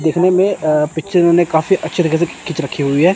देखने में पिक्चर ने काफी अच्छे तरीके से खींच रखी हुई है।